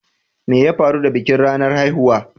Me ya faru da bikin ranar haihuwa?